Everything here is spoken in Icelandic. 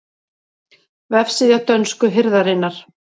Vefsíða dönsku hirðarinnar